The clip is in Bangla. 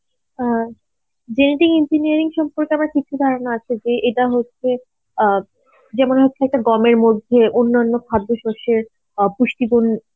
হ্যাঁ genetic engineering সম্পর্কে আমার কিছু ধারণা আছে যে এটা হচ্ছে অ্যাঁ যেমন হচ্ছে হয়তো গমের মধ্যে অন্যান্য খাদ্যশস্যের অ্যাঁ পুষ্টিগুণ